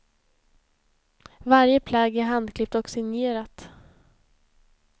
Varje plagg är handklippt och signerat.